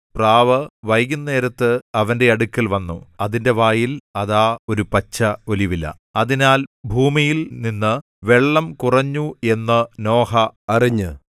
പ്രാവ് വൈകുന്നേരത്ത് അവന്റെ അടുക്കൽ വന്നു അതിന്റെ വായിൽ അതാ ഒരു പച്ച ഒലിവില അതിനാൽ ഭൂമിയിൽനിന്ന് വെള്ളം കുറഞ്ഞു എന്ന് നോഹ അറിഞ്ഞ്